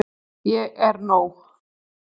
Ég er nóg.